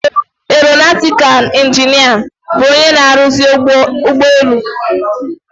Eronatịkal ịnginịa bụ onye na-aruzi ụgbọelu.